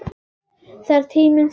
Þegar tíminn stendur í stað